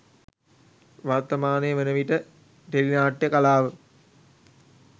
වර්තමානය වන විට ටෙලි නාට්‍යය කලාව